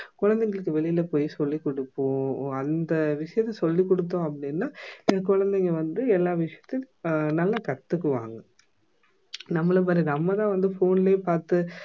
குழந்தைங்களுக்கு வெளியில போய் சொல்லி குடுப்போம் அந்த விஷயத்தை சொல்லி குடுத்தோம் அப்படின்னா குழந்தைங்க வந்து எல்லா விஷயத்தையும் அஹ் நல்லா கத்துக்குவாங்க நம்மள பாரு நம்ம தான் வந்து phone லயே பார்த்து